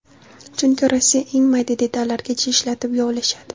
Chunki Rossiya eng mayda detallargacha ishlatib yovlashadi.